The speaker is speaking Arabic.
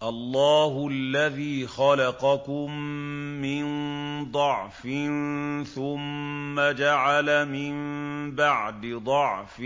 ۞ اللَّهُ الَّذِي خَلَقَكُم مِّن ضَعْفٍ ثُمَّ جَعَلَ مِن بَعْدِ ضَعْفٍ